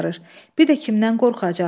Bir də kimdən qorxacaqdı?